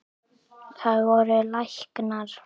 Það voru læknar.